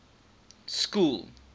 school